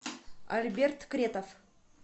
альберт кретов